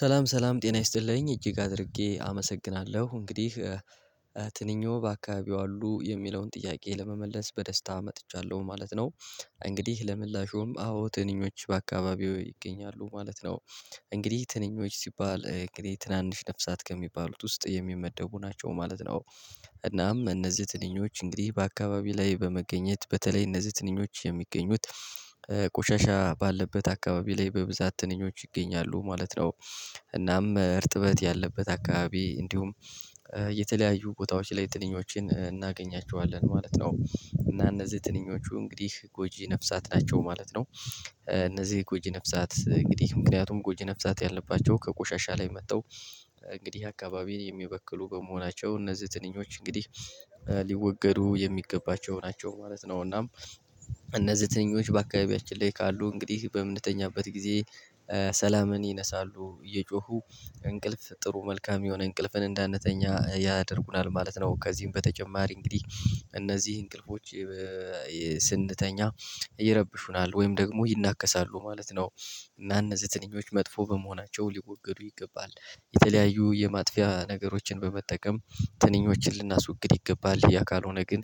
ሰላም ሰላም ጤና ይስጥልኝ እጅግ አድርጌ አመሰግናለሁ እንግዲህ ትንኞ አካባቢው አሉ የሚለውን ጥያቄ ለመመለስ በደስታ መጥቻለሁ ማለት ነው። እንግዲህ ለምላሾም አዎ ትንኞች በአካባቢው ይገኛሉ ማለት ነው። እንግዲህ ትንኞች ሲባል እንግዲህ ትናንሽ ነፍሳት ከሚባሉት ውስጥ የሚመደቡ ናቸው ማለት ነው። እናም እነዚህ ትንኞች እንግዲህ በአካባቢው ላይ በመገኘት በተለይ እነዚህ ትንኞች የሚገኙት ቆሻሻ ባለበት አካባቢ ላይ በብዛት ትንኞች ይገኛሉ ማለት ነው። እናም እርጥበት ያለበት አካባቢ እንዲሁም የተለያዩ ቦታዎች ላይ ትንኞችን እናገኛቸዋለን ማለት ነው እና እነዚህ ትንኞቹ እንግዲህ ጎጂ ነፍሳት ናቸው ማለት ነው። እነዚህ ጎጂ ነፍሳት እንግዲህ ምክንያቱም ጎጂ ነፍሳት ያለባቸው ከቆሻሻ ላይ መጠው እንግዲህ አካባቢ የሚበክሉ በመሆናቸው እነዚህ ትንኞች እንግዲህ ሊወገዱ የሚገባቸው ናቸው ማለት ነው። እናም እነዚህ ትንኞች በአካባቢያችን ላይ ካሉ እንግዲህ በምንተኛበት ጊዜ ሰላምን ይነሳሉ እየጮሁ እንቅልፍ ጥሩ መልካም የሆነ እንቅልፍን እንዳንተኛ ያደርጉናል ማለት ነው። ከዚህም በተጨማሪ እንግዲህ እነዚህ እንቅልፎች ስንተኛ ይረብሹናል ወይም ደግሞ ይናከሳሉ ማለት ነው። እና እነዚህ ትንኞች መጥፎ በመሆናቸው ሊወገዱ ይገባል የተለያዩ የማጥፊያ ነገሮችን በመጠቀም ትንኞችን ልናስወግድ ይገባል ያ ካልሆነ ግን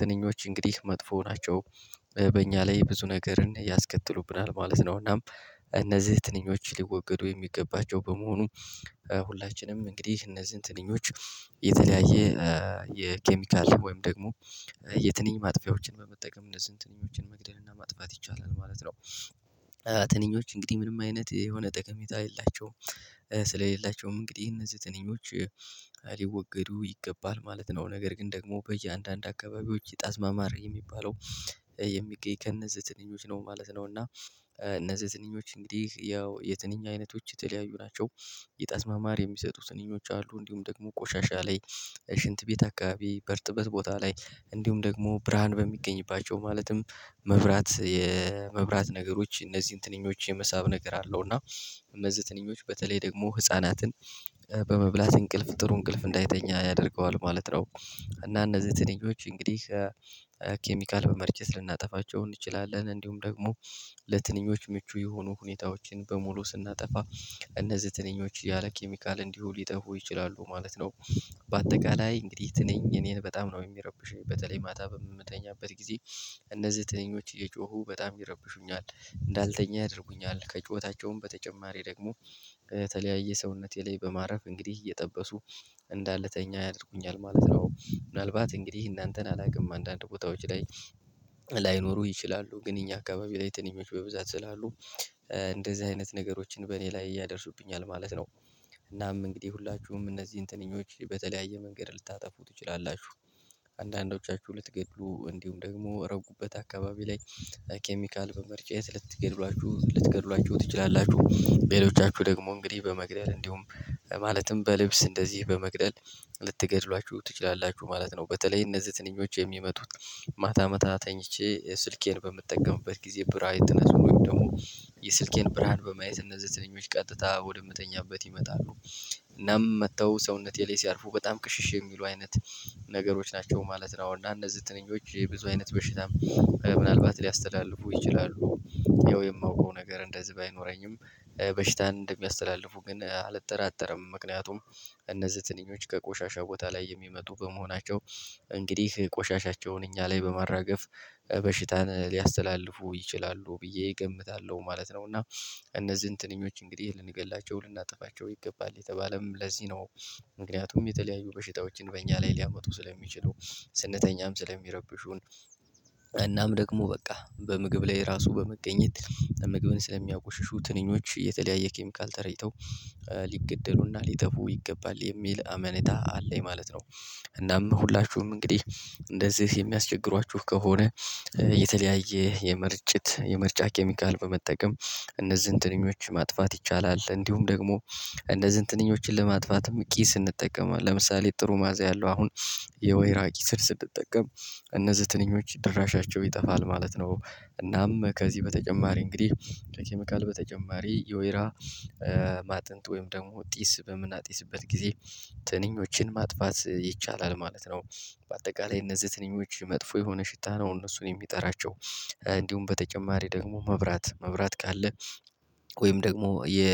ትንኞች እንግዲህ መጥፎ ናቸው። በእኛ ላይ ብዙ ነገርን ያስከትሉብናል ማለት ነው። እናም እነዚህ ትንኞች ሊወገዱ የሚገባቸው በመሆኑ ሁላችንም እንግዲህ እነዚህን ትንኞች የተለያየ የኬሚካል ወይም ደግሞ የትንኞቹን ማጥፊያዎችን በመጠቀም እነዚህን ትንኞችን መግደል እና ማጥፋት ይቻላል ማለት ነው። ትንኞች እንግዲህ ምንም አይነት የሆነ ጠቀሜታ የላቸውም። ስለሌላቸውም እንግዲህ እነዚህ ትንኞች ሊወገዱ ይገባል ማለት ነው ነገር ግን ደግሞ በእያንዳንዱ አካባቢዎች የጣዝማ ማር የሚባለው የሚገኝ ከእነዚህ ትንኞች ነው ማለት ነው። እና እነዚህ ትንኞች እንግዲህ ያው የትንኛ አይነቶች የተለያዩ ናቸው። የጣዝማ ማር የሚሰጡ ትንኞች አሉ እንዲሁም ደግሞ ቆሻሻ ላይ ሽንት ቤት አካባቢ በርጥበት ቦታ ላይ እንዲሁም ደግሞ ብርሃን በሚገኝባቸው ማለትም መብራት የመብራት ነገሮች እነዚህን ትንኞች የመሳብ ነገር አለው እና እነዚህ ትንኞች በተለይ ደግሞ ህፃናትን በመብላት እንቅልፍ ጥሩ እንቅልፍ እንዳይተኛ ያደርገዋል ማለት ነው። እና እነዚህ ትንኞች እንግዲህ ኬሚካል በመርጨት ልናጠፋቸው እንችላለን እንዲሁም ደግሞ ለትንኞች ምቹ የሆኑ ሁኔታዎችን በሙሉ ስናጠፋ እነዚህ ትንኞች ያለ ኬሚካል እንዲሁ ሊጠፉ ይችላሉ ማለት ነው። በአጠቃላይ እንግዲህ ትንኝ እኔን በጣም ነው የሚረብሸኝ በተለይ ማታ በምትተኛበት ጊዜ እነዚህ ትንኞች እየጮሁ በጣም ይረብሹኛል እንዳልተኛ ያደርጉኛል ከጭሆታቸው በተጨማሪ ደግሞ ከተለያየ ሰውነቴ ላይ በማረፍ እንግዲህ እየጠበሱ እንዳልተኛ ያደርጉኛል ማለት ነው። ምናልባት እንግዲህ እናንተን አላውቅም አንዳንድ ቦታዎች ላይ ላይኖሩ ይችላሉ ግን እኛ አካባቢ ላይ ትንኞች በብዛት ስላሉ እንደዚህ አይነት ነገሮችን በእኔ ላይ ያደርሱብኛል ማለት ነው። እናም እንግዲህ ሁላችሁም እነዚህን ትንኞች በተለያየ መንገድ ልታጠፉ ትችላላችሁ አንዳንዶቻችሁ ልትገድሉ እንዲሁም ደግሞ ረጉበት አካባቢ ላይ ኬሚካል መመርጫት ልትገድሏችሁ ልትገድሏችሁ ትችላላችሁ በሌሎቻችሁ ደግሞ እንግዲህ በመግደል እንዲሁም ማለትም በልብስ እንደዚህ በመግደል ልትገድሏችሁ ትችላላችሁ ማለት ነው። በተለይ እነዚህ ትንኞች የሚመጡት ማታ ማታ ተኝቼ ስልኬን በምጠቀምበት ጊዜ ብራይትነሱ ወይም ደግሞ የስልኬን ብርሃን በማየት እነዚህ ትንኞች ቀጥታ ወደምተኛበት ይመጣሉ እናም መጥተው ሰውነቴ ላይ ሲያርፉ በጣም ቅሽሽ የሚሉ አይነት ነገሮች ናቸው ማለት ነው። አሁን እና እነዚህ ትንኞች ብዙ አይነት በሽታም ምናልባት ሊያስተላልፉ ይችላሉ። ይኸው የማውቀው ነገር እንደዚህ ባይኖረኝም በሽታ እንደሚያስተላልፉ ግን አልጠራጠርም ምክንያቱም እነዚህ ትንኞች ከቆሻሻ ቦታ ላይ የሚመጡ በመሆናቸው እንግዲህ ቆሻሻቸውን እኛ ላይ በማራገፍ በሽታን ሊያስተላልፉ ይችላሉ ብዬ እገምታለሁ ማለት ነው። እና እነዚህን ትንኞች እንግዲህ ልንገላቸው ልናጠፋቸው ይገባል የተባለም ለዚህ ነው። ምክንያቱም የተለያዩ በሽታዎችን በእኛ ላይ ሊያመጡ ስለሚችሉ ስነተኛም ስለሚረብሹን እናም ደግሞ በቃ በምግብ ላይ ራሱ በመገኘት ምግብን ስለሚያቆሽሹ ትንኞች የተለያየ ኬሚካል ተረጭተው ሊገደሉና ሊጠፉ ይገባል የሚል አመኔታ አለኝ ማለት ነው። እናም ሁላችሁም እንግዲህ እንደዚህ የሚያስቸግሯችሁ ከሆነ የተለያየ የምርጭት የምርጫ ኬሚካል በመጠቀም እነዚህን ትንኞች ማጥፋት ይቻላል እንዲሁም ደግሞ እነዚህን ትንኞችን ለማጥፋትም ቂስ እንጠቀማለን ለምሳሌ ጥሩ ማዘያ አለው አሁን የወይራ ቂስን ስንጠቀም እነዚህ ትንኞች ድራሻቸው ይጠፋል ማለት ነው። እናም በተጨማሪ እንግዲህ በተጨማሪ የወይራ ማጥንት ወይም ደግሞ ጢስ በምናጢስበት ጊዜ ትንኞችን ማጥፋት ይቻላል ማለት ነው። በአጠቃላይ እነዚህ ትንኞች መጥፎ የሆነ ሽታ ነው እነሱን የሚጠራቸው እንዲሁም በተጨማሪ ደግሞ መብራት መብራት ካለ ወይም ደግሞ የ